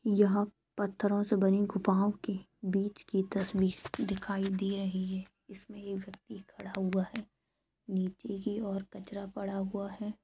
यह पत्थरो से बनी गुफाओ की बीच की तस्वीर दिखाई दे रही है इसमें एक व्यक्ति खड़ा हुआ है नीचे की और कचरा पड़ा हुआ है।